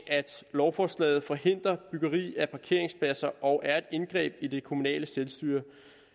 lovforslaget forhindrer byggeri af parkeringspladser og er et indgreb i det kommunale selvstyre